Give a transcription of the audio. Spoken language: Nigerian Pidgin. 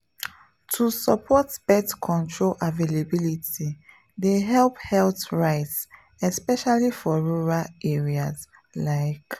to support birth control availability dey help health rights especially for rural areas like.